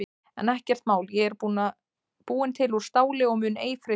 En ekkert mál ég er búin til úr STÁLI og mun ei freistast.